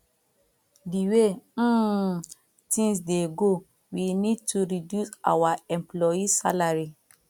the way um things dey go we need to reduce our employee salary